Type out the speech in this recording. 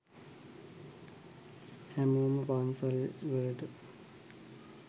හැමෝම පන්සල් වලට